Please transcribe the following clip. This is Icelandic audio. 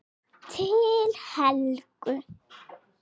Til Helgu.